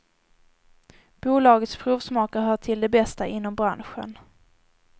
Bolagets provsmakare hör till de bästa inom branschen.